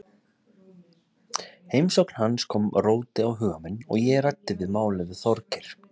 Heimsókn hans kom róti á huga minn og ég ræddi málið við Þorgeir.